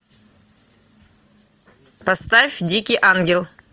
поставь дикий ангел